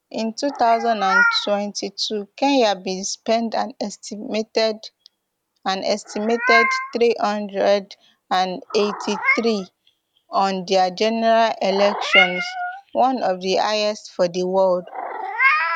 in two thousand and twenty-two kenya bin spend an estimated an estimated three hundred and eighty-threem on their general elections one of di highest for di world